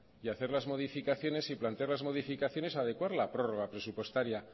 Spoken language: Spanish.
y hacer las modificaciones y plantear las modificaciones adecuar la prórroga presupuestaria